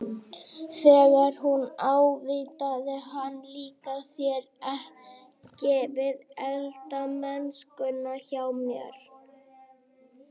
Þegar hún ávítaði hann- Líkar þér ekki við eldamennskuna hjá mér?